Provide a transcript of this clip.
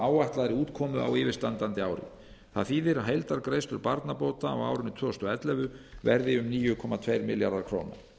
áætlaðri útkomu á yfirstandandi ári það þýðir að heildargreiðslur barnabóta á árinu tvö þúsund og ellefu verði níu komma tveir milljarðar króna